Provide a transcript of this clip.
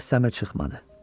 Səs-səmir çıxmadı.